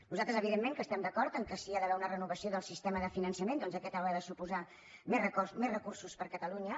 nosaltres evidentment que estem d’acord que si hi ha d’haver una renovació del sistema de finançament doncs aquest haurà de suposar més recursos per a catalunya